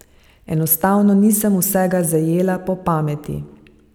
Enostavno nisem vsega zajela po pameti.